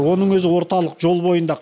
оның өзі орталық жол бойында